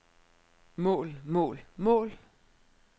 mål mål mål